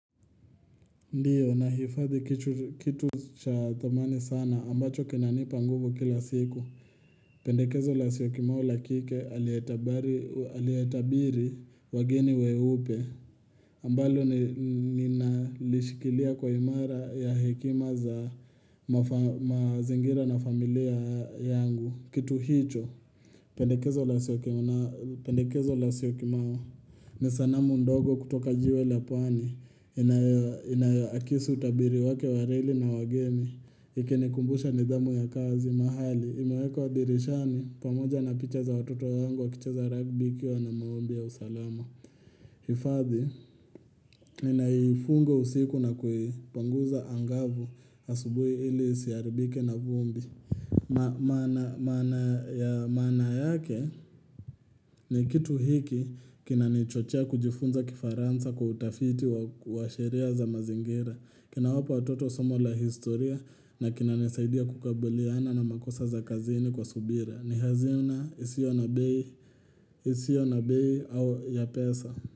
Ndiyo, nahifadhi kitu cha thamani sana ambacho kinanipa nguvu kila siku. Pendekezo la siokimau la kike aliyetabiri wageni weupe. Ambalo ni nalishikilia kwa imara ya hekima za mazingira na familia yangu. Kitu hicho. Pendekezo la siokimau. Ni sanamu ndogo kutoka jiwe la pwani Inayoakisi utabiri wake wa reli na wageni Ingenikumbusha nidhamu ya kazi mahali imewekwa dirishani pamoja na picha za watoto wangu wakicheza ragbi ikiwa ni maombi ya usalama hifadhi, ni naifunga usiku na kuipanguza angavu asubuhi ili siaribike na vumbi Maana yake ni kitu hiki Kinanichochea kujifunza kifaransa kwa utafiti wa sheria za mazingira. Kinawapa watoto somo la historia na kinanisaidia kukabuliana na makosa za kazini kwa subira ni hazina isiyo na bei au ya pesa.